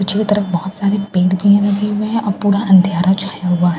पीछे तरफ बहुत सारे पेड़ बी लगे हुए हैं और पूरा अंधयारा छाया हुआ हैं --